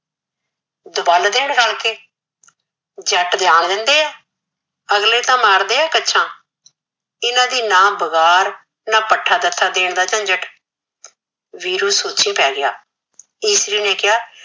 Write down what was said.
ਦਵਲ ਦੇਣ ਰਲ ਕੇ ਜੱਟ ਜਾਨ ਦਿੰਦੇ ਏ ਅਗਲੇ ਤਾ ਮਾਰਦੇ ਏ ਕਛਾ ਇਹਨਾ ਦੀ ਨਾ ਵਿਗਾੜ ਨਾ ਪਠਾ ਦਥਾ ਦੇਣ ਦਾ ਝੰਜਟ ਵੀਰੂ ਸੋਚੀ ਪੈ ਗਿਆ ਇਸਰੀ ਨੇ ਕਿਹਾ